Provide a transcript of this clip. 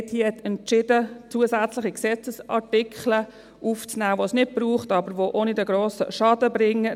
Die Mehrheit in diesem Saal hat entschieden, zusätzliche Gesetzesartikel aufzunehmen, die es nicht braucht, die aber auch keinen grossen Schaden bringen.